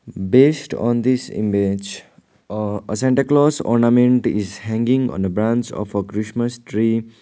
based on this image uh a santa claus ornament is hanging on a branch of a christmas tree.